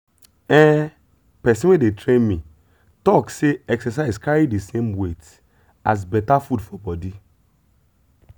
ehn person wey dey train me talk say exercise carry the same weight as better food for body.